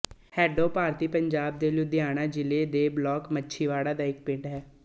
ਹੇਡੋਂ ਭਾਰਤੀ ਪੰਜਾਬ ਦੇ ਲੁਧਿਆਣਾ ਜ਼ਿਲ੍ਹੇ ਦੇ ਬਲਾਕ ਮਾਛੀਵਾੜਾ ਦਾ ਇੱਕ ਪਿੰਡ ਹੈ